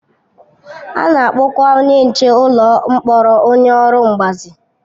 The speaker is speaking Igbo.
A na-akpọkwa onye nche ụlọ mkpọrọ onye ọrụ mgbazi.